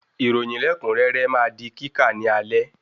Ìròyìn lẹkunrẹrẹ ma di kíkà ní alẹ́